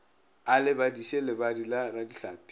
a lebadiše lebadi la radihlapi